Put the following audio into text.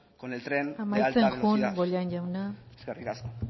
con el tren de alta velocidad amaitzen joan bollain jauna eskerrik asko